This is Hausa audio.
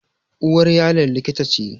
Uwar Yaron likita ce